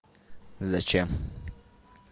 зачем